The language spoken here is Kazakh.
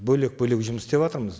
бөлек бөлек жұмыс істеватырмыз